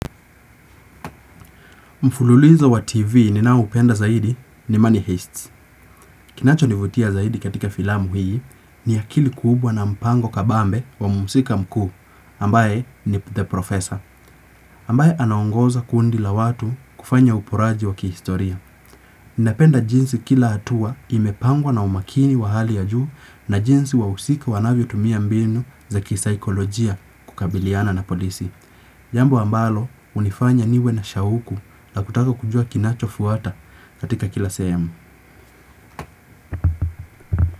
Mfululizo wa TV ni nao upenda zaidi ni Money Heist. Kinacho nivutia zaidi katika filamu hii ni akili kubwa na mpango kabambe wa muhusika mkuu ambaye ni The Professor. Ambaye anaongoza kundi la watu kufanya uporaji wa kihistoria. Ninapenda jinsi kila hatua imepangwa na umakini wa hali ya juu na jinsi wa usika wanavyo tumia mbinu za kisaikolojia kukabiliana na polisi. Jambo ambalo hunifanya niwe na shauku la kutaka kujua kinacho fuata katika kila sehemu.